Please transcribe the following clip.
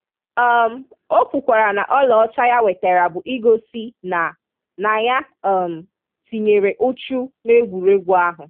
um O kwukwara na ọlaọcha ya wetere bụ igosi na na ya um tinyere uchu n'egwuregwu ahụ.